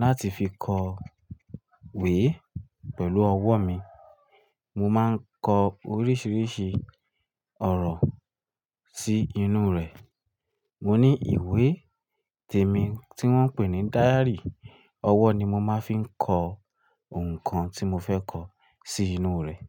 láti fi kọ̀wé pẹ̀lú ọwọ́ mi. Mo máa ń kọ oríṣiríṣi ọ̀rọ̀ sí inú rẹ̀. Mo ní ìwé tèmi tí wọ́n ń pè ní díárì, ọwọ́ ni mo máa ń fi kọ ohun kan tí mo fẹ́ kọ sí inú rẹ̀.